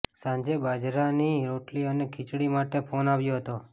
સાંજે બાજરાની રોટલી અને ખીચડી માટે ફોન આવ્યો હતો